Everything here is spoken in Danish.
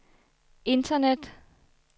internet